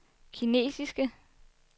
kinesiske